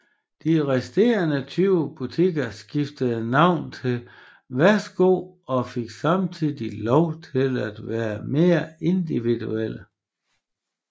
De resterende 20 butikker skiftede navn til Værsgo og fik samtidig lov til at være mere individuelle